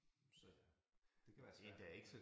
Så det kan være svært